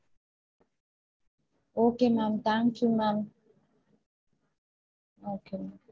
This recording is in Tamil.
Okay ma'am thank you ma'am okay ma'am